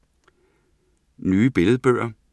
Nye billedbøger